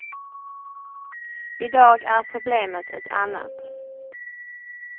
I dag är problemet ett annat.